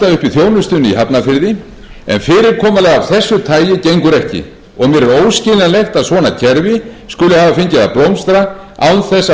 þjónustunni í hafnarfirði en fyrirkomulag af þessu tagi gengur ekki og mér er óskiljanlegt að svona kerfi skuli hafa fengið að blómstra án þess að